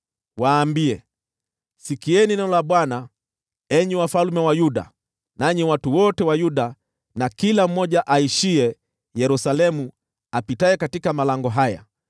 Waambie, ‘Sikieni neno la Bwana , enyi wafalme wa Yuda, nanyi watu wote wa Yuda, na kila mmoja aishiye Yerusalemu apitaye katika malango haya.